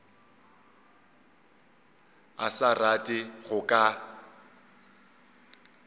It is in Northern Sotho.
a sa rate go ka